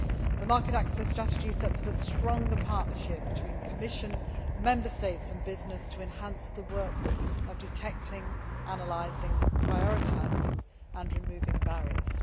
The Market Access Strategy sets up a stronger partnership between the Commission, Member States and business to enhance the work of detecting, analysing, prioritising and removing barriers.